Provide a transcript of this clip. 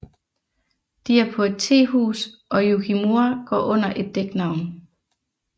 De er på et tehus og Yukimura går under et dæknavn